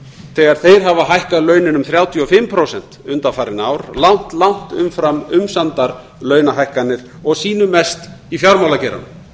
þegar þeir hafa hækkað launin um þrjátíu og fimm prósent undanfarin ár langt langt umfram umsamdar launahækkanir og sýnu mest í fjármálageiranum